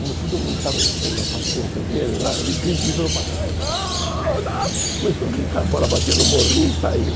Como todo mundo estava enchendo a paciência dele lá, ele grite, virou para trás, gol, gol, começou a gritar, a bola bateu no morrinho e saiu.